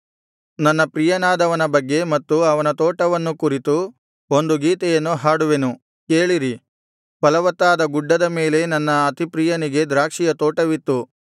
ನನ್ನ ಪ್ರಿಯನಾದವನ ಬಗ್ಗೆ ಮತ್ತು ಅವನ ತೋಟವನ್ನೂ ಕುರಿತು ಒಂದು ಗೀತೆಯನ್ನು ಹಾಡುವೆನು ಕೇಳಿರಿ ಫಲವತ್ತಾದ ಗುಡ್ಡದ ಮೇಲೆ ನನ್ನ ಅತಿಪ್ರಿಯನಿಗೆ ದ್ರಾಕ್ಷಿಯ ತೋಟವಿತ್ತು